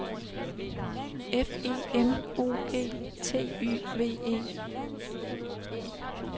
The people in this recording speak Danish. F E M O G T Y V E